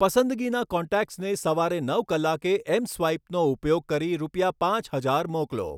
પસંદગીના કોન્ટેક્ટ્સને સવારે નવ કલાકે એમ સ્વાઈપનો ઉપયોગ કરી રૂપિયા પાંચ હજાર મોકલો